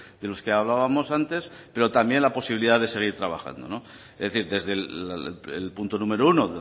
de los que hablábamos antes pero también la posibilidad de seguir trabajando es decir desde el punto número uno